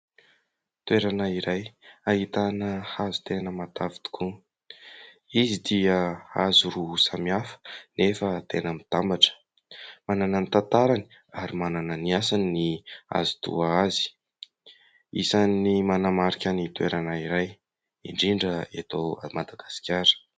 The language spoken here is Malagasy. Toerana iray ahitana hazo tena matavy tokoa. Izy dia hazo roa samihafa nefa tena mitambatra. Manana ny tantarany ary manana ny asany ny hazo toa azy. Isan'ny manamarika ny toerana iray indrindra eto Madagasikara.